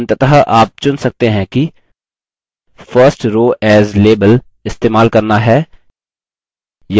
अंततः आप चुन सकते हैं कि first row as label इस्तेमाल करना है